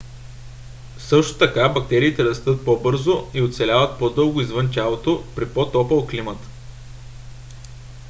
също така бактериите растат по - бързо и оцеляват по - дълго извън тялото при по - топъл климат